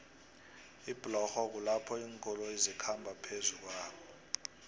iblorho kulapho linkoloyo zikhamba phezukuomanei